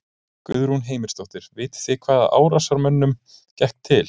Guðrún Heimisdóttir: Vitið þið hvaða árásarmönnunum gekk til?